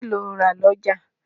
Kí lo rà lọ́jà?